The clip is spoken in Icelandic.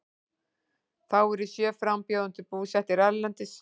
Þá eru sjö frambjóðendur búsettir erlendis